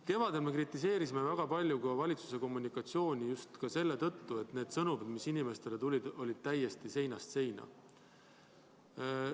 Kevadel me kritiseerisime väga palju ka valitsuse kommunikatsiooni just selle tõttu, et need sõnumid, mis inimestele tulid, olid täiesti seinast seina.